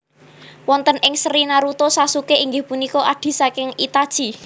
Wonten ing seri Naruto Sasuke inggih punika adhi saking Itachi